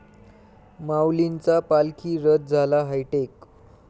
माऊलींचा पालखी रथ झाला हायटेक